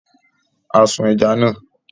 A sun ẹja náà.